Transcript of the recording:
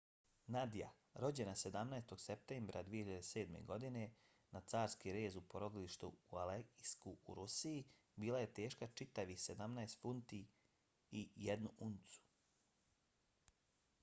nadia rođena 17. septembra 2007. godine na carski rez u porodilištu u aleisku u rusiji bila je teška čitavih 17 funti i 1 uncu